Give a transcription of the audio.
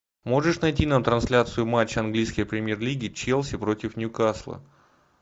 можешь найти нам трансляцию матча английской премьер лиги челси против ньюкасла